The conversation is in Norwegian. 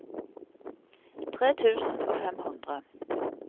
tre tusen og fem hundre